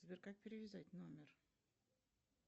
сбер как перевязать номер